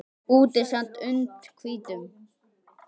Úti sat und hvítum